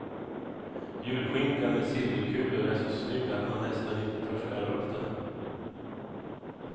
Julskinkan med silverkulor är så snygg att man nästan inte törs skära upp den.